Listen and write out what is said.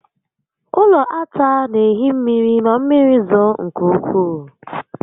Ụlọ ata n'ehi mmiri ma mmiri zoo nke ukwuu